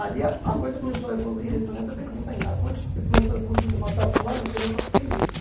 Ali a a coisa começou a evoluir, respondendo a tua pergunta ainda, a coisa começou a evoluir de uma tal forma que eu não só fiquei nisso.